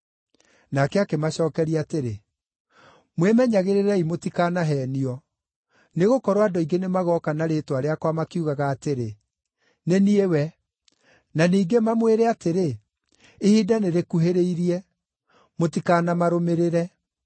Nake akĩmacookeria atĩrĩ, “Mwĩmenyagĩrĩrei mũtikanaheenio. Nĩgũkorwo andũ aingĩ nĩmagooka na rĩĩtwa rĩakwa makiugaga atĩrĩ, ‘Nĩ niĩ We,’ na ningĩ mamwĩre atĩrĩ, ‘Ihinda nĩrĩkuhĩrĩirie.’ Mũtikanamarũmĩrĩre.